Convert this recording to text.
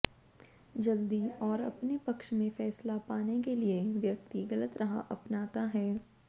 जल्दी और अपने पक्ष में फैसला पाने के लिए व्यक्ति ग़लत राह अपनाता है